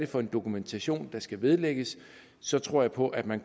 for en dokumentation der skal vedlægges så tror jeg på at man